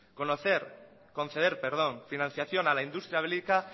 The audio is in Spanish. conceder financiación a la industria bélica